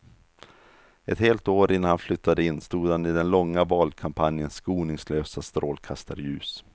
Ett helt år innan han flyttade in stod han i den långa valkampanjens skoningslösa strålkastarljus.